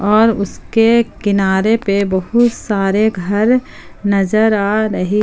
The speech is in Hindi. और उसके किनारे पे बहुत सारे घर नजर आ रही।